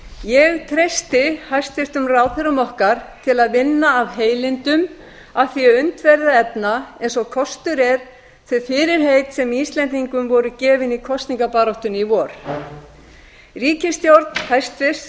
ég treysti hæstvirtum ráðherrum okkar til að vinna af heilindum að því að unnt verði að efna eins og kostur er þau fyrirheit sem íslendingum voru gefin í kosningabaráttunni í vor ríkisstjórn hæstvirts